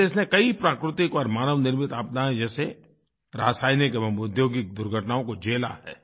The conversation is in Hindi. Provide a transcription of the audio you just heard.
इस देश ने कई प्राक्रतिक और मानवनिर्मित आपदाएँ जैसे रासायनिक एवं औद्योगिक दुर्घटनाओं को झेला है